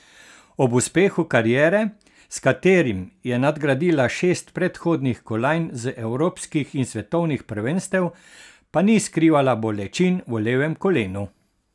Ob uspehu kariere, s katerim je nadgradila šest predhodnih kolajn z evropskih in svetovnih prvenstev, pa ni skrivala bolečin v levem kolenu.